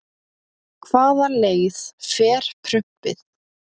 Hvaða leið fer prumpið?